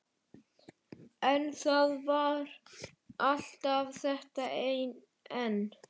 En- það var alltaf þetta en.